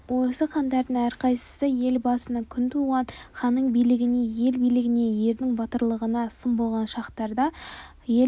осы хандардың әрқайсысы ел басына күн туған ханның біліктілігіне ел бірлігіне ердің батырлығына сын болған шақтарды ел